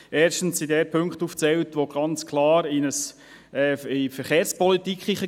Erstens werden dort Punkte auf aufgezählt, die ganz klar die Verkehrspolitik tangieren.